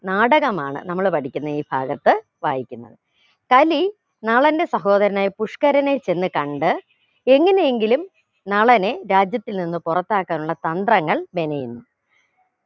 നാടകമാണ് നമ്മൾ പഠിക്കുന്ന ഈ ഭാഗത്ത് വായിക്കുന്നത് കലി നളന്റെ സഹോദരനായ പുഷ്കരനെ ചെന്ന് കണ്ട് എങ്ങനെയെങ്കിലും നളനെ രാജ്യത്തിൽ നിന്ന് പുറത്താക്കാനുള്ള തന്ത്രങ്ങൾ മെനയുന്നു